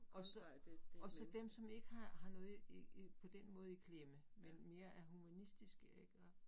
Og så og så dem, som ikke har har noget i i i på den måde i klemme, men mere er humanistiske ik og